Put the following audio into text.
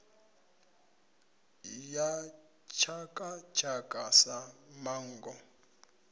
ya tshaka tshaka sa manngo